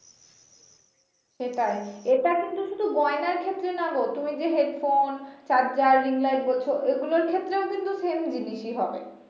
সেটাই এটা কিন্তু শুধু গয়নার ক্ষেত্রে না গো তুমি যে headphone, charger, ring light বলছো এগুলোর ক্ষেত্রেও same জিনিসই হবে